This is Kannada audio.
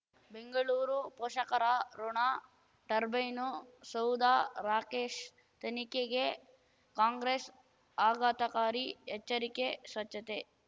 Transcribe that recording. ಬೆಂಗಳೂರು ಪೋಷಕರಋಣ ಟರ್ಬೈನು ಸೌಧ ರಾಕೇಶ್ ತನಿಖೆಗೆ ಕಾಂಗ್ರೆಸ್ ಆಘಾತಕಾರಿ ಎಚ್ಚರಿಕೆ ಸ್ವಚ್ಛತೆ